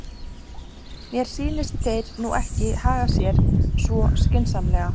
Mér sýnist þeir nú ekki haga sér svo skynsamlega.